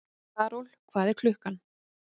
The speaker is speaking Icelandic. Karol, hvað er klukkan?